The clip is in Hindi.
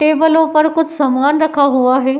टेबलो पर कुछ समान रखा हुआ है।